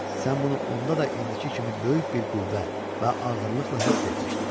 Sən bunu onda da indiki kimi böyük bir qüvvə və ağırlıqla hiss etmişdin.